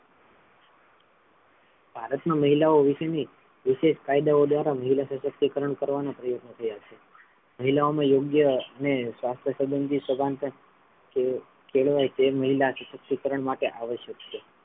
ભારત મા મહિલાઓ વિષે ની વિશેષ કાયદાઓ દ્વારા મહિલા સશક્તિકરણ કરવાના પ્રયોગ થયાં છે મહિલાઓમાં યોગ્ય અને શાસ્ત્ર સબંધ ની સમાનતા કેળવાઈ તે મહિલા સશક્તિકરણ માટે આવશ્યક છે.